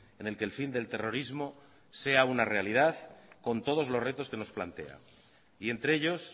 en el que el fin del terrorismo sea una realidad con todos los retos que nos plantea y entre ellos